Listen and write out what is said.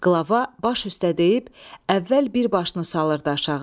Qlava baş üstə deyib əvvəl bir başını salırdı aşağı.